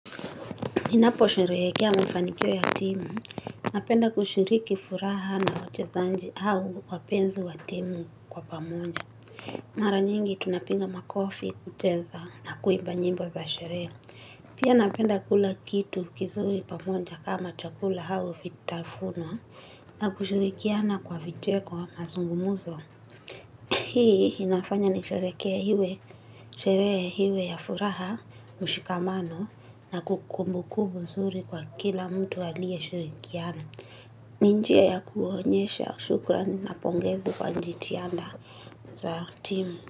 Ninaposherehekea mafanikio ya timu, napenda kushiriki furaha na wachezaji au wapenzi wa timu kwa pamoja. Mara nyingi tunapiga makofi kucheza na kuimba nyimbo za sherehe. Pia napenda kula kitu kizuri pamoja kama chakula au vitafunwa na kushirikiana kwa viteko mazungumzo. Hii inafanya nisherehekee iwe sherehe iwe ya furaha mshikamano na kukumbukumbu nzuri kwa kila mtu aliyeshirikiana. Ni njia ya kuonyesha shukrani na pongezi kwa jitihada za timu.